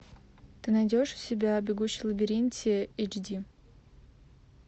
ты найдешь у себя бегущий в лабиринте эйч ди